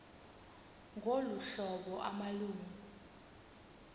ngolu hlobo amalungu